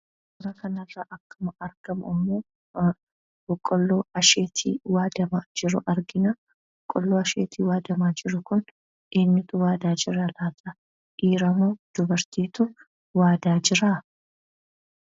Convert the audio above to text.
Suuraa kana irraa akkuma argamu immoo boqqolloo asheetii waadamaa jiru argina. Boqqolloo asheetiin waadamaa jiru kun eenyuutu waadaa jira laata? Dhiira moo dubartiitu waadaa jira?